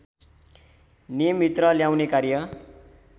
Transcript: नियमभित्र ल्याउने कार्य